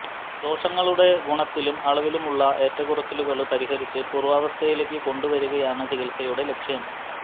ദോഷങ്ങളുടെ ഗുണത്തിലും അളവിലുമുള്ള ഏറ്റക്കുറച്ചിലുകള് പരിഹരിച്ച് പൂര്വ്വാവസ്ഥയിലേക്കു കൊണ്ടുവരികയാണ് ചികിത്സയുടെ ലക്ഷ്യം